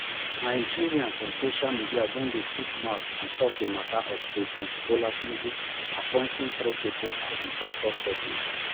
nigerians on social media don dey chook mouth on top di mata of president bola tinubu appointing three um pipo as im toktok pesins